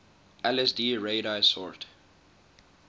lsd radix sort